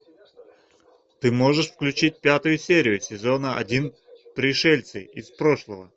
ты можешь включить пятую серию сезона один пришельцы из прошлого